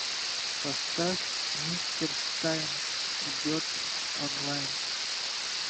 поставь мистер штайн идет онлайн